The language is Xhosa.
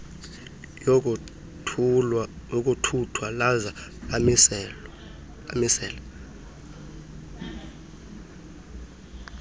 yokuthuthwa laza lamisela